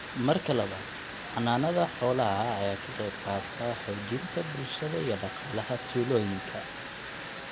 Marka labaad, xanaanada xoolaha ayaa ka qaybqaata xoojinta bulshada iyo dhaqaalaha tuulooyinka.